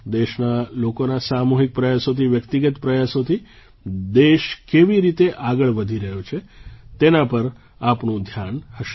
દેશના લોકોના સામૂહિક પ્રયાસોથી વ્યક્તિગત પ્રયાસોથી દેશ કેવી રીતે આગળ વધી રહ્યો છે તેના પર આપણું ધ્યાન હશે